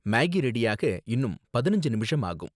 Maggi ரெடியாக இன்னும் பதினஞ்சு நிமிஷம் ஆகும்.